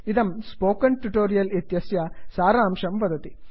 इदं spoken tutorial इत्यस्य सारांशं वदति